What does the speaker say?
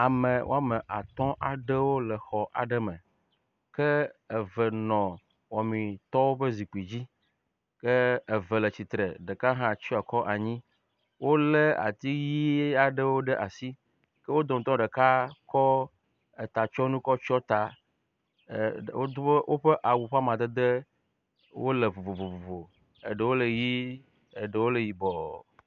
Ame wɔme atɔ aɖewo le xɔ aɖe me ke eve nɔ wɔmitɔwo ƒe zikpui dzi ke eve le tsitre. Ɖeka hã tsɔ akɔ anyi. Wo le ati ʋi aɖewo ɖe asi. Ke wo dometɔ ɖeka kɔ etatsɔnu kɔ tsɔ ta e wodo woƒe awu ƒe amadede wo le vovovo. Eɖewo le ʋi, eɖewo le yibɔ.